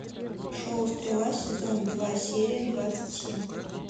шоу стрела сезон два серия двадцать семь